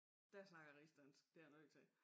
Der snakker jeg rigsdansk det jeg nødt til